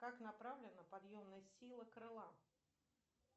как направлена подъемная сила крыла